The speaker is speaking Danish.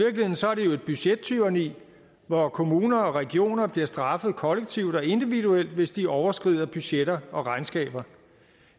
budgettyranni hvor kommuner og regioner bliver straffet kollektivt og individuelt hvis de overskrider budgetter og regnskaber